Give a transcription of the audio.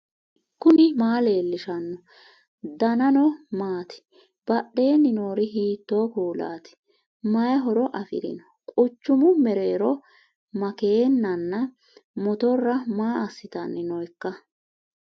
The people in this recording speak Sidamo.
knuni maa leellishanno ? danano maati ? badheenni noori hiitto kuulaati ? mayi horo afirino ? quchumu mereero makeennanna motorra maa assitanni nooikka